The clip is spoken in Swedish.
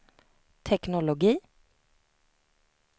teknologi